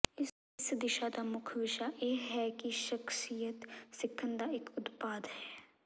ਇਸ ਦਿਸ਼ਾ ਦਾ ਮੁੱਖ ਵਿਸ਼ਾ ਇਹ ਹੈ ਕਿ ਸ਼ਖਸੀਅਤ ਸਿੱਖਣ ਦਾ ਇਕ ਉਤਪਾਦ ਹੈ